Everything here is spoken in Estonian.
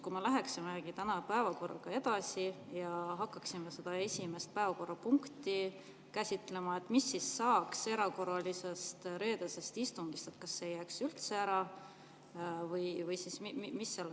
Kui me läheme täna päevakorraga edasi ja hakkame seda esimest päevakorrapunkti käsitlema, siis mis saab reedesest erakorralisest istungist, kas see jääb üldse ära või mis sellega saab?